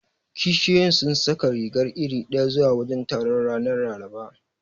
Kishiyoyin sun saka riga iri ɗaya zuwa wajen taron, ranar Laraba.